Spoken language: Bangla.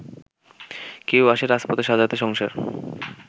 কেউ আসে রাজপথে সাজাতে সংসার